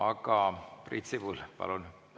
Aga Priit Sibul, palun!